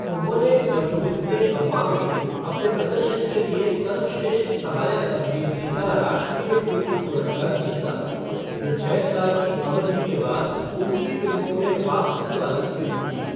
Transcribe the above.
उन्होंने अचुविंते अम्मा में अपने प्रदर्शन के लिए सर्वश्रेष्ठ सहायक अभिनेत्री का राष्ट्रीय फ़िल्म पुरस्कार जीता, जो छः साल की अवधि के बाद उनकी फ़िल्मों में वापसी वाली फ़िल्म थी।